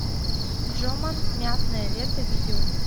джоман мятное лето видео